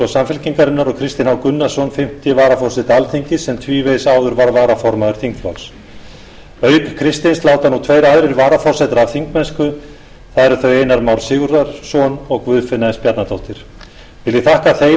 samfylkingarinnar og kristinn h gunnarsson fimmta varaforseti alþingis sem tvívegis áður var varaformaður þingflokks auk kristins láta nú tveir aðrir varaforsetar af þingmennsku það eru þau einar már sigurðarson og guðfinna s bjarnadóttir vil ég þakka þeim og